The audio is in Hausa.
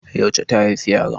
Yauce ta haifi yaron?